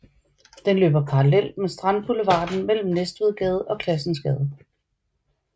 Den løber parallelt med Strandboulevarden mellem Næstvedgade og Classensgade